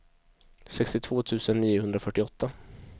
sextiotvå tusen niohundrafyrtioåtta